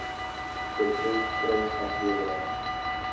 betref prys aflewering